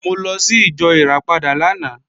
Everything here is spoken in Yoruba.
Mo lọ sí ìjọ Ìràpadà lánàá